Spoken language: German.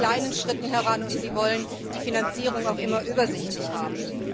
Sie gehen in kleinen Schritten heran und wollen die Finanzierung auch immer übersichtlich haben.